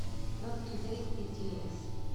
нот тудэй битиэс